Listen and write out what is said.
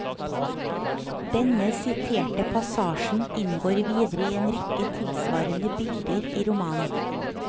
Denne siterte passasjen inngår videre i en rekke tilsvarende bilder i romanen.